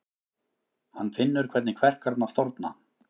Hann finnur hvernig kverkarnar þorna.